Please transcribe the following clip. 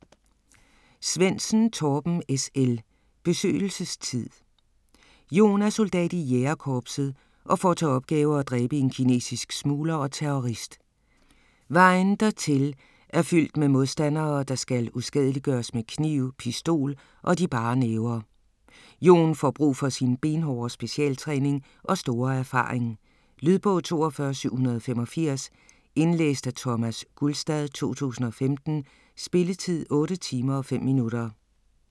Svendsen, Torben S. L.: Besøgelsestid Jon er soldat i Jægerkorpset og får til opgave at dræbe en kinesisk smugler og terrorist. Vejen dertil er fyldt med modstandere, der skal uskadeliggøres med kniv, pistol og de bare næver. Jon får brug for sin benhårde specialtræning og store erfaring. Lydbog 42785 Indlæst af Thomas Gulstad, 2015. Spilletid: 8 timer, 5 minutter.